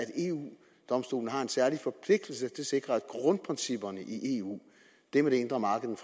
eu domstolen har en særlig forpligtelse til at sikre at grundprincipperne i eu det med det indre marked